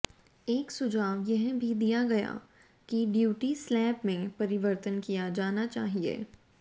एक सुझाव यह भी दिया गया कि ड्यूटी स्लेब में परिवर्तन किया जाना चाहिए